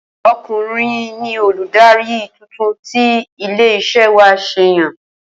O̩kùnrin ni olùdarí titun tí ilé is̩é̩ wa s̩è̩ yàn